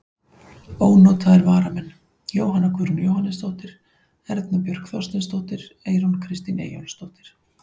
Ónotaðir varamenn: Jóhanna Guðrún Jóhannesdóttir, Erna Björk Þorsteinsdóttir, Eyrún Kristín Eyjólfsdóttir.